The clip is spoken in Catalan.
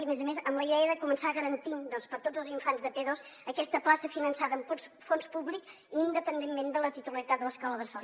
i a més a més amb la idea de començar garantint per a tots els infants de p2 aquesta plaça finançada amb fons públics independentment de la titularitat de l’escola bressol